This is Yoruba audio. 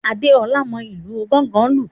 Adeola mọ ìlù gángan lu.